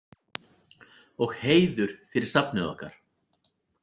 Og heiður fyrir safnið okkar.